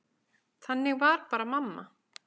Þannig var bara mamma.